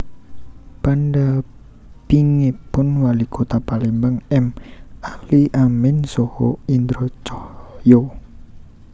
Pandampingipun Walikota Palembang M Ali Amin saha Indra Caya